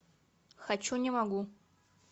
хочу не могу